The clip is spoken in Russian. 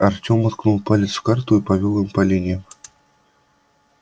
артем уткнул палец в карту и повёл им по линиям